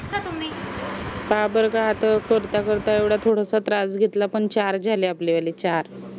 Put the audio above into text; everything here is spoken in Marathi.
का बरं हा तर करता करता एवढा थोडासा त्रास घेतला पण चार झाले आपले वाले चार